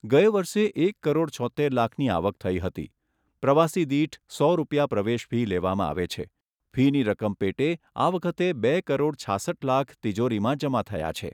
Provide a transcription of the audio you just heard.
ગયા વરસે એક કરોડ છોત્તેર લાખની આવક થઈ હતી. પ્રવાસી દીઠ સો રૂપિયા પ્રવેશ ફી લેવામાં આવે છે ફીની રકમ પેટે આ વખતે બે કરોડ છાસઠ લાખ તિજોરીમાં જમા થયા છે.